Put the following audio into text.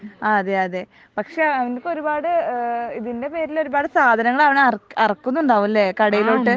ആഹ് അതെയതെ. പക്ഷെ ഇങ്ങേക് ഒരുപാട് ഏഹ് ഇതിൻ്റെ പേരിൽ ഒരുപാട് സാധനങ്ങൾ അവൻ ഇറക്കുണ്ടാവും അല്ലെ കടയിലോട്ട്